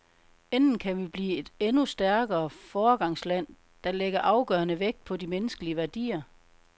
Enten kan vi blive et endnu stærkere foregangsland, der lægger afgørende vægt på de menneskelige værdier.